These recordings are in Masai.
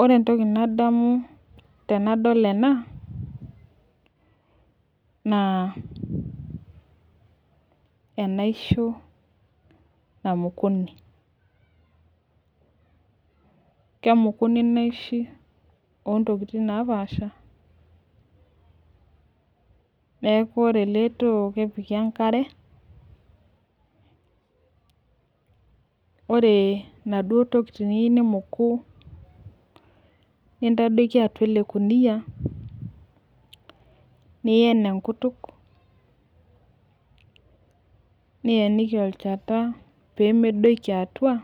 Ore entoki nadamu tenadol ena naa enaisho namukuni ,kemukuni inaishi ontokitin , niaku ore eletoo lenkare , ore inaduo tokitin niyieu nimuku nintadoiki atua elekunia nien enkutuk nien kimnotlchanta pemedoiki atua ,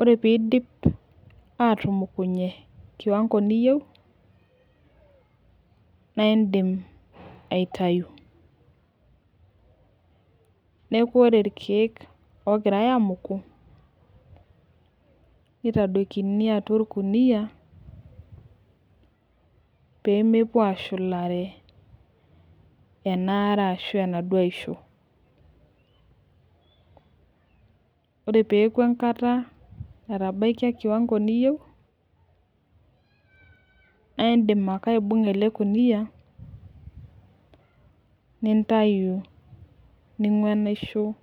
ore pidip atumukunye kiwango niyieu naa indim aitayu neku ore irkiek ogirae amuku , niadoikini atua orkunia pemepuo ashulare enaare ashu enaduo aisho . Ore peaku enkata na indim ake aibunga elekunia nintayu enaisho.